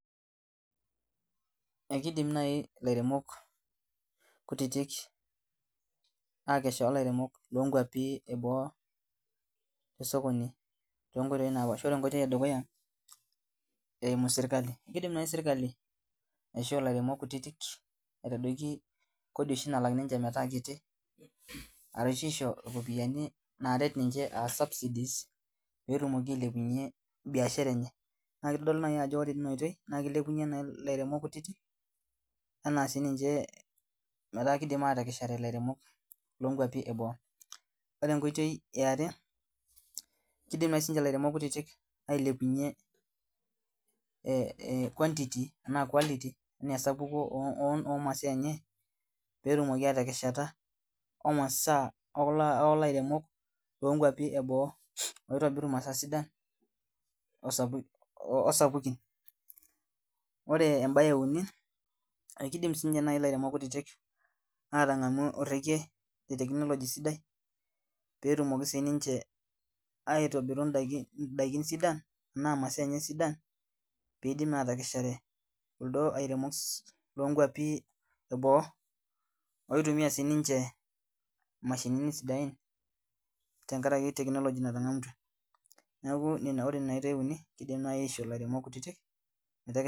Ekidim naai ilairemok kutitik akesha olairemok lonkuapi eboo tesokoni tonkoitoi napaasha ore enkoitoi edukuya eimu sirkali kidim naai sirkali aishoo ilairemok kutitik aitadoiki kodi oshi nalak ninche metaa kiti arashu isho iropiyiani naaret ninche aa subsidies petumoki ailepunyie biashara enye naa kitodolu naaji ajo ore tina oitoi naa kilepunyie naai ilairemok kutiti enaa sininche metaa kidim atekeshare ilairemok lonkuapi eboo ore enkoitoi eare kidim naai sininche ilairemok kutitik ailepunyie eh e quantity enaa quality enaa oh esapuko omasaa enye petumoki atekeshata omasaa okulo airemok lonkuapi eboo oitobiru imasaa sidan osapukin ore embaye euni akidim sininye naai ilairemok kutitik atang'amu orrekie le technology sidai petumoki sininche aitobiru indaiki indaiki sidan enaa imasaa enye sidan piidim naa atekeshare kuldo airemoks lonkuapi eboo oitumia sininche imashinini sidain tenkarake technology natang'amutua niaku ore nena oitei uni kidim naai aishoo ilairemok kutitik meteke.